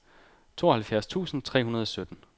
tooghalvfjerds tusind tre hundrede og sytten